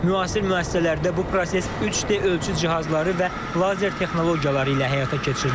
Müasir müəssisələrdə bu proses 3D ölçü cihazları və lazer texnologiyaları ilə həyata keçirilir.